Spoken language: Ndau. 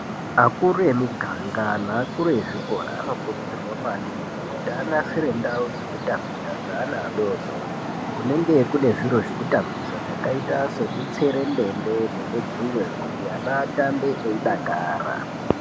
Akuru emi ganga ne akuru ezvikora ano kurudzirwa maningi kuti anasire ndau dzeku tambira dze ana adodori kunenge kune zviro zveku tambisa zvakaita se mitserendende ne mudzuwe kuti ana atambe eyi dakara.